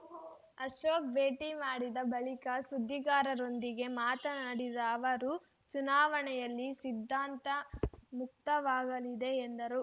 ಅಶೋಕ್ ಭೇಟಿ ಮಾಡಿದ ಬಳಿಕ ಸುದ್ದಿಗಾರರೊಂದಿಗೆ ಮಾತನಾಡಿದ ಅವರು ಚುನಾವಣೆಯಲ್ಲಿ ಸಿದ್ಧಾಂತ ಮುಖ್ಯವಾಗಲಿದೆ ಎಂದರು